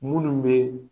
Munnu be